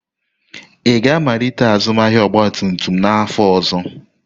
Ị ga-amalite azụmahịa ọgba tum tum n'afọ ọzọ?